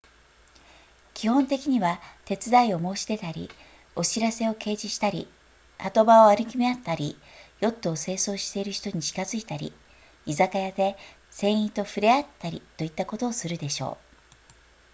基本的には手伝いを申し出たりお知らせを掲示したり波止場を歩き回ったりヨットを清掃している人に近づいたり居酒屋で船員と触れ合ったりといったことをするでしょう